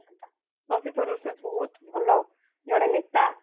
ଶକ୍ତି ସ୍ୱରୂପ ସେ ବହୁତ ଭଲ ଜଣେ ନେତା